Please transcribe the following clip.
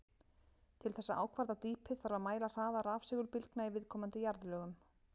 Til þess að ákvarða dýpið þarf að mæla hraða rafsegulbylgna í viðkomandi jarðlögum.